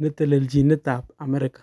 netelelchinet ab America.